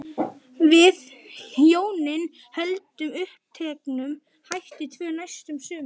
Við hjónin héldum uppteknum hætti tvö næstu sumur.